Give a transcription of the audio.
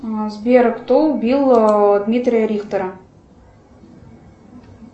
сбер кто убил дмитрия рихтера